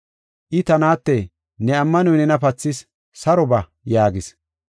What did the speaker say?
I, “Ta naate, ne ammanoy nena pathis; saro ba” yaagis.